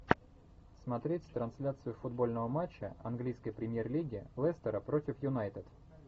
смотреть трансляцию футбольного матча английской премьер лиги лестера против юнайтед